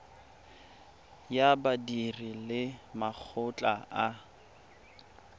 ya badiri le makgotla a